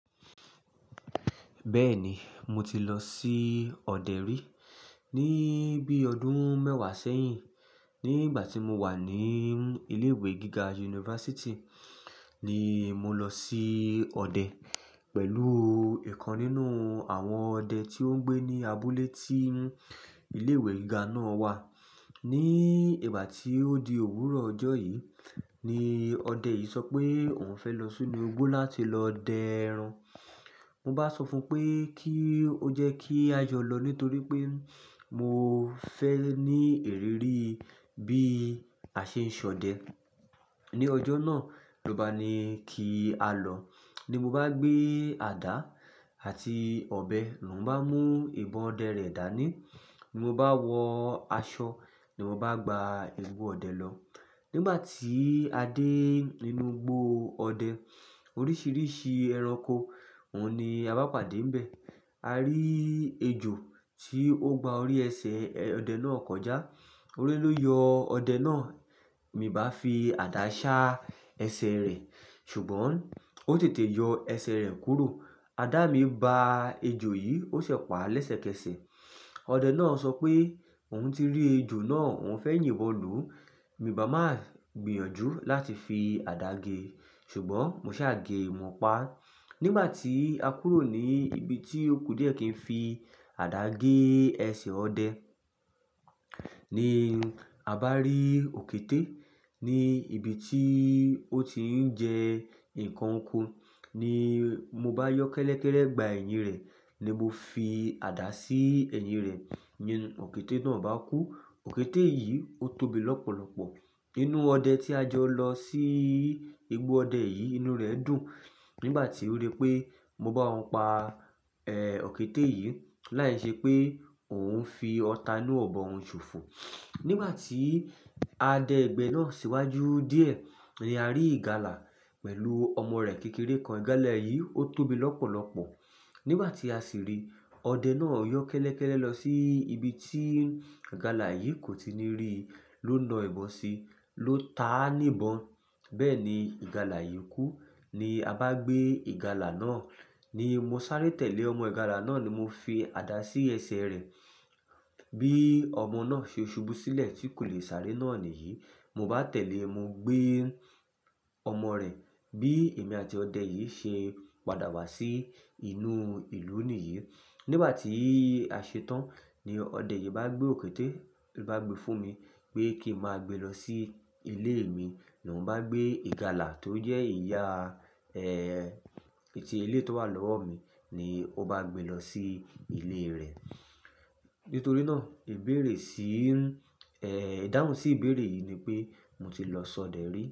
Bẹ́ẹ̀ni, mo ti lọ sí ọdẹ rí ní bí ọdún mẹ́wàá sẹ́yìn. Ní ìgbà tí mo wà ní ilé ìwé gíga yunifásítì, ní mo lọ sí ọdẹ pẹ̀lú nkan nínú àwọn ọdẹ tí ó ń gbé ní abúlé tí ilé ìwé gíga náà wà. Ni ìgbà tí ó di òwúrọ̀ ọjọ́ yìí ni ọdẹ yìí sọ pé òun fẹ́ lọ sínú igbó láti lọ dẹ ẹran. Mo bá sọ fún pé kí ó jẹ́ kí a jọ lọ nítorí pé mo fẹ́ ní ìrírí bí a ṣe ń ṣọdẹ. Ni ọjọ́ náà ló bá ni kí a lọ. Ni mo bá gbé àdá àti ọ̀bẹ ló n bá mú ìbọn ọdẹ rẹ̀ dà ní. Ni mo bá wọ aṣọ ni mo bá gba igbo ọdẹ lọ. Nígbà tí a dé inú igbó ọdẹ, oríṣiríṣi ẹranko òun ni a bá pàdé níbẹ̀. A rí ejò tí ó gba orí ẹsẹ̀ ọdẹ náà kọjá. Ori ló yọ ọdẹ náà, mi bá fi àdá sá ẹsẹ̀ rẹ̀. Ṣùgbọ́n ó tètè yọ ẹsẹ̀ rẹ̀ kúrò. Ada mi ba ejò yìí ó ṣẹ pàá lẹ́sẹ̀kẹsẹ̀. Ọdẹ náà sọ pé òun ti rí ejò náà, òun fẹ́ yìn ibon lu. Mi bá máa gbìyànjú láti fi àdá gé. Ṣùgbọ́n mo sá gé e mo pa. Nígbà tí a kúrò ní ibi tí òkú díẹ̀ kí n fi àdá gé ẹsẹ̀ ọdẹ, ni a bá rí òkété ní ibi tí ó ti ń jẹ nnkan oko. Ni mo bá yọ kẹ́lẹ́kẹ́lẹ́ gbá ẹ̀yìn rẹ̀, ni mo fi àdá sí ẹ̀yìn rẹ̀. Ni òkété náà bá kú. Òkété yìí ó tóbi lọ́pọ̀lọ́pọ̀. Inú ọdẹ tí a jọ lọ sí, igbo ọdẹ yìí inú rẹ̀ dùn. Nígbà tí ó rí pé mo bá òun pa, ẹ́, òkété yìí, láì ṣe pé òun ń fi ọta inú ibọn òun ṣòfò. Nígbà tí a dẹ igbẹ́ náà síwájú díẹ̀ ni a rí ìgalà pẹ̀lú ọmọ rẹ̀ kékeré kan. Ìgalà yìí ó tóbi lọ́pọ̀lọ́pọ̀. Nígbà tí a sì rí i, ọdẹ náà yọ kẹ́lẹ́kẹ́lẹ́ lọ sí ibi tí ìgalà yìí kò ti ní rí i ló na ìbọn si ló ta á ní ibọn. Bẹ́ẹ̀ni, ìgalà yìí kú. Ni a bá gbé ìgalà náà. Ni mo sáré tẹ̀lé ọmọ ìgalà náà ni mo fi àdá sí ẹsẹ̀ rẹ̀. Bí ọmọ náà ṣe ṣubú sílẹ̀ tí kò lè sáré náà níyì. Mo bá tẹ̀lé, mo gbé ọmọ rẹ̀. Bí èmi àti ọdẹ yìí ṣe padà wá sí inú ìlú nìyí. Nígbà tí a ṣe tán ni ọdẹ yìí bá gbé òkété, ló bá gbe fún mi pé kí n máa gbe lọ sí ilé mi. Ni òun bá gbé ìgalà tó jẹ́ ìyá, ẹ́ẹ́, titi eleyi tówà lọ́wọ́ mi ni ó bá gbe lọ sí ilé rẹ̀. Nítorí náà ìbéèrè sí, ẹ́ẹ́, ìdáhùn sí ìbéèrè yìí ni pé mo ti lọ ṣọdẹ rí.